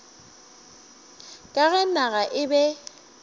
ka ge naga e be